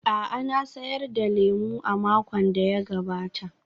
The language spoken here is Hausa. A'a, na sayar da lemo a makon da ya gabata.